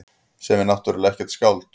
Sem er náttúrlega ekkert skáld.